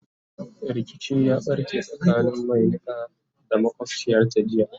rikici ya ɓarke tsakanin Mai Niƙa da makwabciyarta jiya